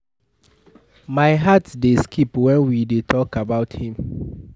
My heart dey skip wen we dey talk about him